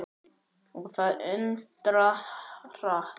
Og það undra hratt.